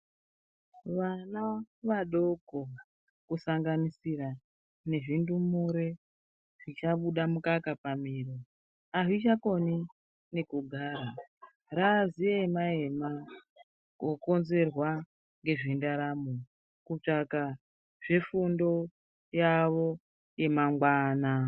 Vana vadoko kusanganisira nezvindumure zvichabuda mukaka pamhino avachakoni nekugara raa ziema ema kokonzerwa nezve ndaramo kutsvaka zvefundo yavo yemangwana.